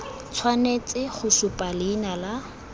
tshwanetse go supa leina la